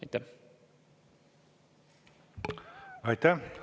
Aitäh!